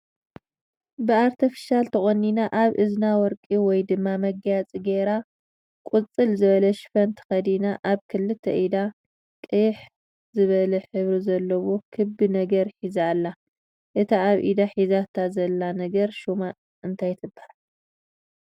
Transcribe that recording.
ብኣርተፍሻል ተቆኒና ኣብ እዝና ወርቂ ወይ ድማ መጋየፂ ገይራ ቁፅል ዝብለ ሽፎን ተኸዲና ኣብ ክልተ ኢዳ ቅይሕ ዝብለ ሕብሪ ዘለዎ ክቢ ነገር ሒዛ ኣላ፡፡ እታ ኣብ ኢዳ ሒዛታ ዘላ ነገር ሽማ እንታይ ትበሃል?